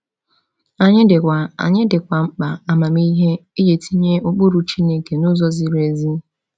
Anyị dịkwa Anyị dịkwa mkpa amamihe iji tinye ụkpụrụ Chineke n’ụzọ ziri ezi.